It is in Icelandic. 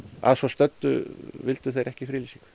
að svo stöddu vildu þeir ekki friðlýsingu